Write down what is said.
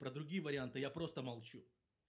про другие варианты я просто молчу